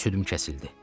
Südüm kəsildi.